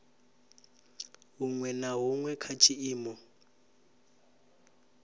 huṅwe na huṅwe kha tshiimo